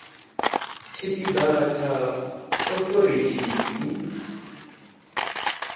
tshipi ḓa tsha authority to